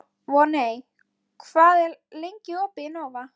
Voney, hvað er lengi opið í Nova?